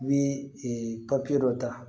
N bɛ papiye dɔ ta